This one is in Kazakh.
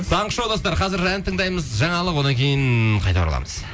таңғы шоу достар қазір ән тыңдаймыз жаңалық одан кейін қайта ораламыз